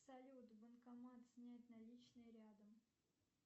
салют банкомат снять наличные рядом